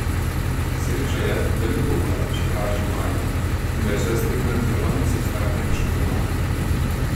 Sreča je, da ni pouka, še pravi županja, in da je vsaj streha na telovadnici ostala nepoškodovana.